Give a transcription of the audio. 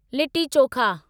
litti chokha